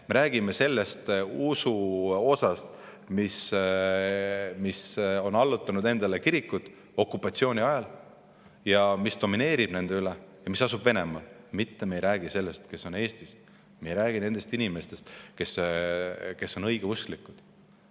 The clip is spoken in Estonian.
Me räägime sellest usust, mis okupatsiooni ajal on allutanud endale kirikud ja mis domineerib nende üle ja mis asub Venemaal, mitte me ei räägi nendest inimestest, kes on Eestis õigeusklikud.